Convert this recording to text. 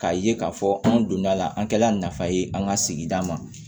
K'a ye k'a fɔ an donna la an kɛla nafa ye an ka sigida ma